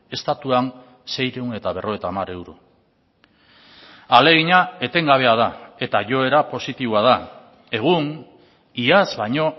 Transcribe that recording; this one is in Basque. estatuan seiehun eta berrogeita hamar euro ahalegina etengabea da eta joera positiboa da egun iaz baino